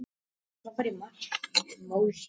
Ólafur: Nei, frekar skólastjórann.